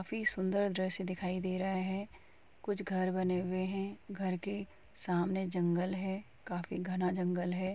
काफी सुंदर दृश्य दिखाई दे रहा है कुछ घर बने हुए हैं घर के सामनें जंगल है काफी घना जंगल है।